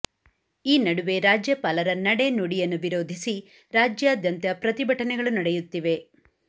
ಈ ನಡುವೆ ರಾಜ್ಯಪಾಲರ ನಡೆ ನುಡಿಯನ್ನು ವಿರೋಧಿಸಿ ರಾಜ್ಯಾದ್ಯಂತ ಪ್ರತಿಭಟನೆಗಳು ನಡೆಯುತ್ತಿವೆ